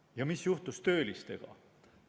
Ja mis juhtus töölistega?